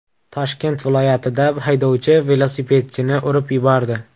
Toshkent viloyatida haydovchi velosipedchini urib yubordi.